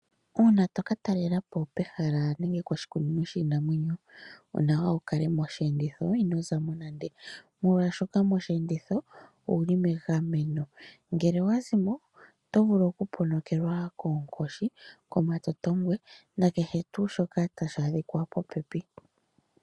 Uuna toka talelapo pehala nenge poshikunino shiinamwenyo onawa wukale moshiyenditho ino zamo nande molwaashoka moshiyenditho ouli megameno ngele owazimo otovulu okuponokelwa koonkoshi, komatotongwe nakehe tuu shoka tashi adhika popepi.